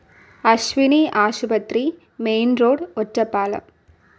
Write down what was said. അശ്വിനി ആശുപത്രി, main road, Ottapalam